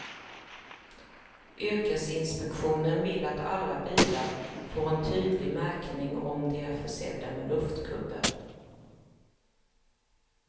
Yrkesinspektionen vill att alla bilar får en tydlig märkning om de är försedda med luftkuddar.